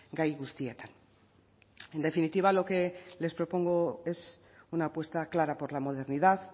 gai guztietan en definitiva lo que les propongo es una apuesta clara por la modernidad